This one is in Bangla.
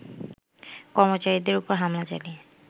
কর্মচারীদের ওপর হামলা চালিয়ে